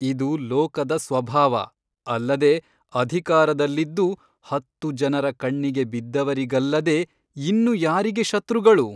ಇದು ಲೋಕದ ಸ್ವಭಾವ ಅಲ್ಲದೆ ಅಧಿಕಾರದಲ್ಲಿದ್ದು ಹತ್ತು ಜನರ ಕಣ್ಣಿಗೆ ಬಿದ್ದವರಿಗಲ್ಲದೆ ಇನ್ನು ಯಾರಿಗೆ ಶತ್ರುಗಳು?